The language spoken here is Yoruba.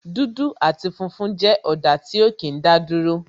dudu ati funfun jẹ́ ọ̀dà tí ó kí n daduro